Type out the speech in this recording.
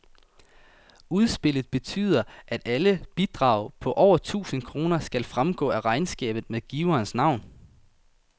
Udspillet betyder, at alle bidrag på over tusind kroner skal fremgå af regnskabet med giverens navn.